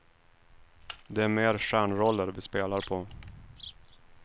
Det är mer stjärnroller vi spelar på.